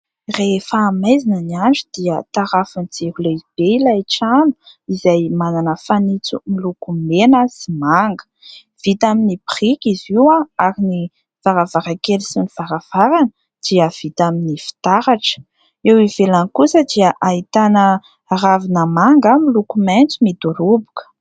Rehefa maizina ny andro dia tarafin'ny jiro lehibe ilay trano, izay manana fanitso miloko mena sy manga. Vita amin'ny biriky izy io ary ny varavarankely sy ny varavarana dia vita amin'ny fitaratra ;eo ivelany kosa dia ahitana ravina manga miloko maitso midoroboka.